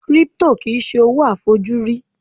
Crypto kìí ṣe owó a fojú rí